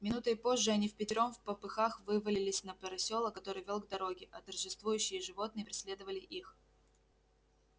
минутой позже они впятером впопыхах вывалились на просёлок который вёл к дороге а торжествующие животные преследовали их